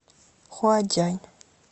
хуадянь